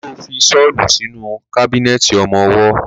Ṣo fi ṣọ́lù sínú kábínẹ̀tì ọmọwọ́?